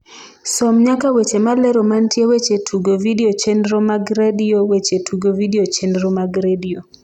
som nyaka weche malero mantie weche tugo vidio chenro mag redio weche tugo vidio chenro mag redio